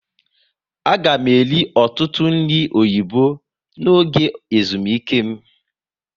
A ga m eri ọtụtụ nri oyibo n'oge ezumike m